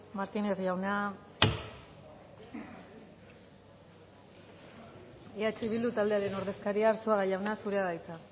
martínez jauna eh bildu taldearen ordezkaria arzuaga jauna zurea da hitza